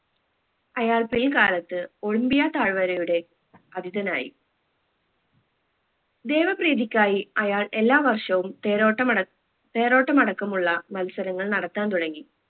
അയാൾ പ്രിയ കാലത്ത് ഒളിമ്പിയ തായിവരയുടെ അധിതനായി ദേവ പ്രീതിക്കായി അയാൾ എല്ലാ വർഷവും തേരോട്ടം അട തേരോട്ടം അടക്കമുള്ള മത്സരങ്ങൾ നടത്താൻ തുടങ്ങി